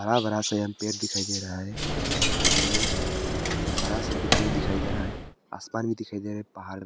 बड़ा बड़ा सा यहाँ पेड़ दिखाई दे रहा है उधर मे बड़ा सा बिल्डिंग दिखाई दे रहा है आसमान भी दिखाई दे रहा है पहाड़--